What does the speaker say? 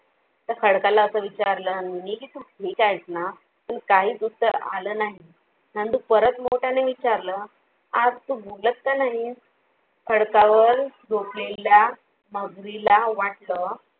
त्या खडकाला असा विचारलं नंदूनी कि तू ठीक आहेस ना? काहीच उत्तर आलं नाही नंदू परत मोठ्या ने विचारलं, आज तो बोलत का नाहीस? खडकांवर झोपलेल्या मगरी ला वाटलं.